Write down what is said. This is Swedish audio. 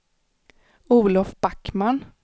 Olof Backman